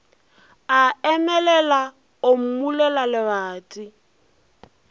a emelela o mmulela lebati